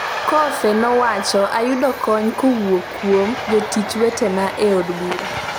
Coffey nowacho" ayudo kony kowuok kuom jotich wetena e od bura"